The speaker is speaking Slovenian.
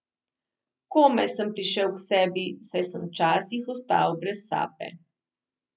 Komaj sem prišel k sebi, saj sem včasih ostal brez sape.